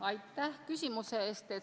Aitäh küsimuse eest!